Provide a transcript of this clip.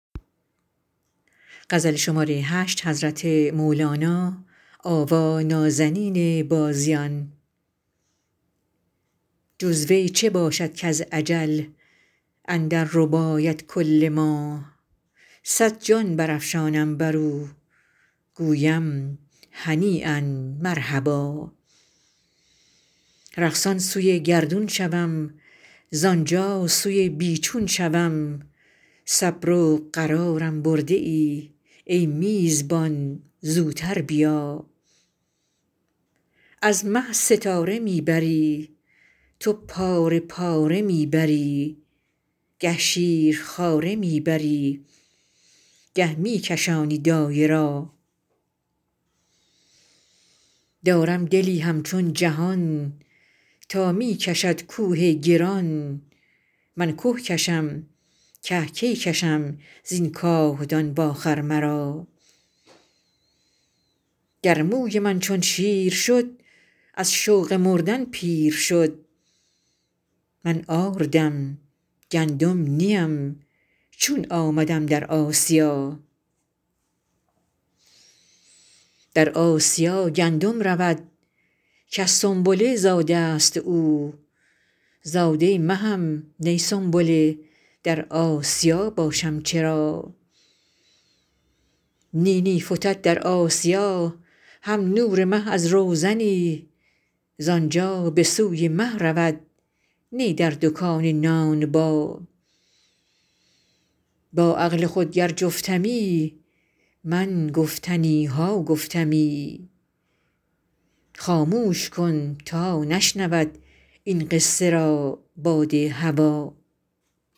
جز وی چه باشد کز اجل اندر رباید کل ما صد جان برافشانم بر او گویم هنییا مرحبا رقصان سوی گردون شوم زان جا سوی بی چون شوم صبر و قرارم برده ای ای میزبان زوتر بیا از مه ستاره می بری تو پاره پاره می بری گه شیرخواره می بری گه می کشانی دایه را دارم دلی همچون جهان تا می کشد کوه گران من که کشم که کی کشم زین کاهدان واخر مرا گر موی من چون شیر شد از شوق مردن پیر شد من آردم گندم نی ام چون آمدم در آسیا در آسیا گندم رود کز سنبله زاده ست او زاده مهم نی سنبله در آسیا باشم چرا نی نی فتد در آسیا هم نور مه از روزنی زان جا به سوی مه رود نی در دکان نانبا با عقل خود گر جفتمی من گفتنی ها گفتمی خاموش کن تا نشنود این قصه را باد هوا